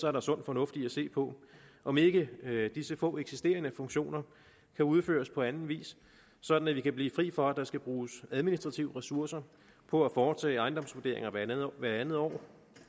er der sund fornuft i at se på om ikke disse få eksisterende funktioner kan udføres på anden vis sådan at vi kan blive fri for at der skal bruges administrative ressourcer på at foretage ejendomsvurderinger hvert andet år